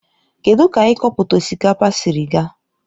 Kedụ ka ikọpụta osikapa siri ga?